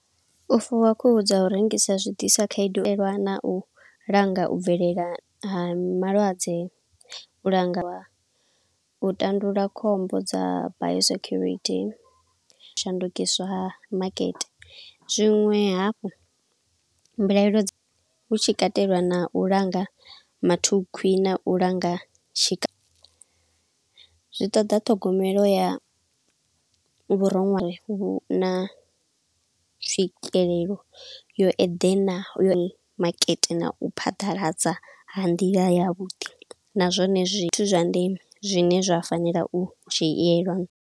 U fuwa khuhu dza u rengisa zwi disa khaedu lwana na u langa u bvelela ha malwadze, u langa u tandulula khombo dza bio security, u shandukiswa ha makete. Zwinwe hafhu mbilaelo dza, tshikatelwa na u langa mathukhwi na u langa tshika, zwi ṱoḓa ṱhogomelo ya vhuronwane vhu na tswikelelo yo eḓena yo makete na u phaḓaladza ha nḓila ya vhuḓi, na zwone zwithu zwa ndeme zwine zwa fanela u dzhielwa.